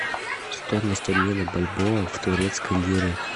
стоимость обмена бальбоа в турецкие лиры